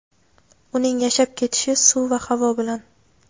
uning yashab ketishi suv va havo bilan.